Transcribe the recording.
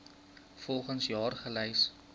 volgens jaar gelys